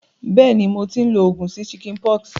Béèni, mo ti n lo ogùn sí chickenpox